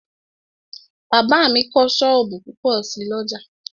Bàbá mi kọ́ sọ́ọ̀bù púpọ̀ sí l'ọ́jà